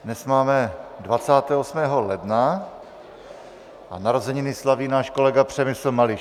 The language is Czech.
Dnes máme 28. ledna a narozeniny slaví náš kolega Přemysl Mališ.